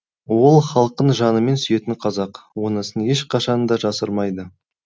ол халқын жанымен сүйетін қазақ онысын ешқашанда жасырмайды